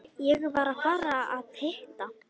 Ég var að fara að hitta